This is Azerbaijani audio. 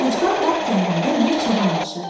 Ucqar dağ kəndində bir çoban yaşayırdı.